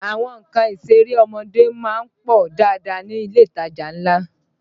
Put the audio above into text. Àwọn nǹkan ìṣeré ọmọdé má ń pọ̀ dáadáa ní ilé ìtajà ńlá